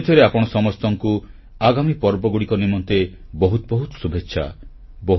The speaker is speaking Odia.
ପୁଣିଥରେ ଆପଣ ସମସ୍ତଙ୍କୁ ଆଗାମୀ ପର୍ବଗୁଡ଼ିକ ନିମନ୍ତେ ବହୁତ ବହୁତ ଶୁଭେଚ୍ଛା